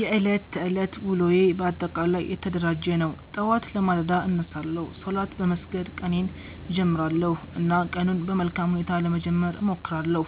የዕለት ተዕለት ውሎዬ በአጠቃላይ የተደራጀ ነው። ጠዋት በማለዳ እነሳለሁ፣ ሶላት በመስገድ ቀኔን እጀምራለሁ እና ቀኑን በመልካም ሁኔታ ለመጀመር እሞክራለሁ።